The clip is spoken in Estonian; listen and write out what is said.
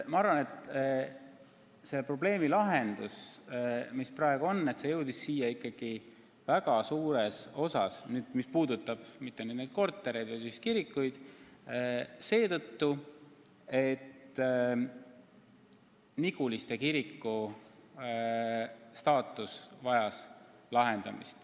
Ma arvan, et selle probleemi lahendus, mis praegu on siia jõudnud – ma ei mõtle neid kortereid, vaid just kirikuid –, jõudis siia just seetõttu, et Niguliste kiriku staatus vajas paika panemist.